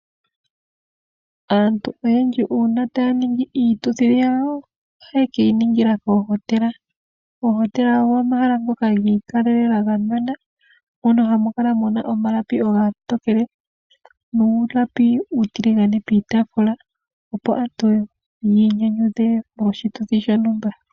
Aantu oyendji uuna taaningi iituthi yawo ohaye keyi ningile koohotela. Oohotela ogo omahala ngoka giikalelela gamwenena mono hamukala muna omalapi omatokele nuulapi uutiligane piitaafula opo aantu yiinyanydhe moshituthi shontuma.